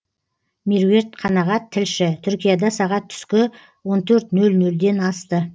меруерт қанағат тілші түркияда сағат түскі он төрт нөл нөлден асты